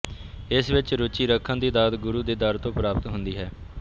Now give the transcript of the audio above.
ਇਸ ਵਿੱਚ ਰੁਚੀ ਰੱਖਣ ਦੀ ਦਾਤ ਗੁਰੂ ਦੇ ਦਰ ਤੋਂ ਪ੍ਰਾਪਤ ਹੁੰਦੀ ਹੈ